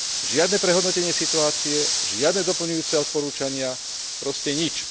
Žiadne prehodnotenie situácie, žiadne doplňujúce odporúčania, proste nič...